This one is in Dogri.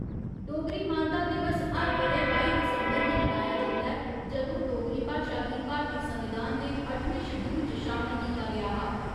डोगरी मानता दिवस हर ब'रे बाई दिसंबर गी मनाया जंदा ऐ जदूं डोगरी भाशा गी भारतीय संविधान दे अट्ठमें शड्‌यूल च शामल कीता गेआ हा।